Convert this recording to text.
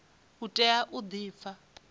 u tea u di pfa